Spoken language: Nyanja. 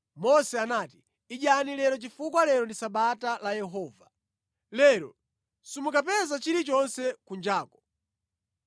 Mose anati, “Idyani lero chifukwa lero ndi Sabata la Yehova. Lero simukapeza chilichonse kunjaku.